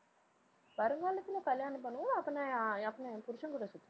வருங்காலத்துல கல்யாணம் பண்ணுவோம். அப்ப நான் ஆ~ அப்ப நான் என் புருசன் கூட சுத்துவேன்